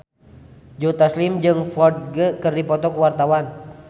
Joe Taslim jeung Ferdge keur dipoto ku wartawan